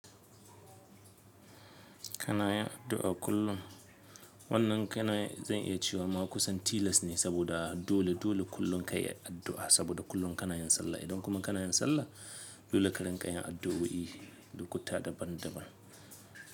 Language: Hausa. Kanayan addu’a kullum? Wannan kanayi zan iya cewa ma kusan tiles ne, saboda dole dole kullum kayi addu’a saboda kullum kanayin sallah, idan kuma kanayin sallah dole ka rinƙa yin addu’o’i lokuta daban-daban.